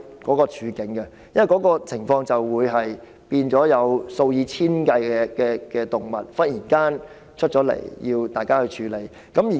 這些情況一旦出現，便會忽然間有數以千計的動物需要當局處理。